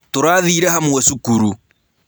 Tũrathĩĩre hamwe cukuru.